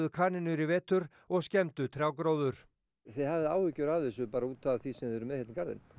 kanínur í vetur og skemmdu trjágróður þið hafið áhyggjur af þessu bara út af því sem þið eruð með hérna í garðinum